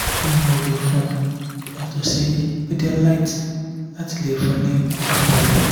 kini mo le fun yato si pedialyte lati le fun ni okan bale?